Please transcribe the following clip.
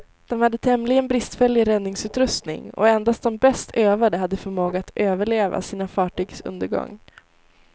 De hade tämligen bristfällig räddningsutrustning, och endast de bäst övade hade förmåga att överleva sina fartygs undergång.